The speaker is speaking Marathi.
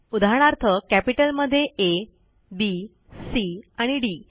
उदाहरणार्थ कॅपिटल मध्ये आ बी सी आणि डी